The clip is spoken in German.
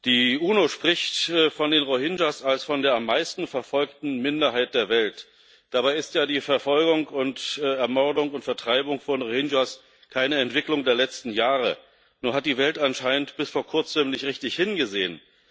Die UNO spricht von den Rohingya als der am meisten verfolgten Minderheit der Welt. Dabei ist ja die Verfolgung, Ermordung und Vertreibung von Rohingya keine Entwicklung der letzten Jahre, nur hat die Welt anscheinend bis vor kurzem nicht richtig hingesehen.